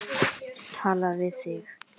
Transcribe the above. Tala við þig.